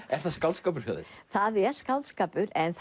er það skáldskapur hjá þér það er skáldskapur en